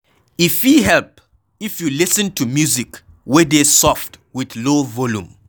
E fit help if you lis ten to music wey dey soft with low volume